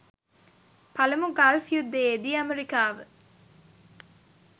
පළමු ගල්ෆ් යුද්ධයේදී අමෙරිකාව